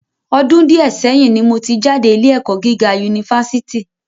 Ọdún díẹ̀ sẹ́yín ni mo jáde ní ilé ẹ̀kọ́ gíga Unifásítì